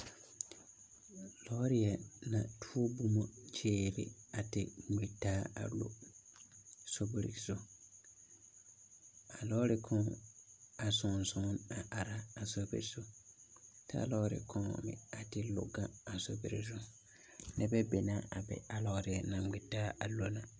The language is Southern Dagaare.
Lɔɔre na tuo boma kyerɛ a te ŋmɛ taa a lo sorbir zu. A lɔɔre kaŋ a sɔŋsɔŋ a ara a srbir zu. Kyɛ a lɔɔre kaŋ meŋ te lo gaŋ a sorbir zu. Nebɛ be na a be a lɔɔre na ŋmɛ taa a lo na.